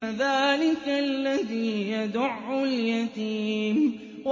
فَذَٰلِكَ الَّذِي يَدُعُّ الْيَتِيمَ